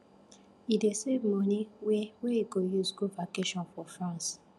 he dey save money wey wey he go use go vacation for france